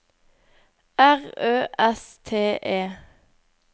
R Ø S T E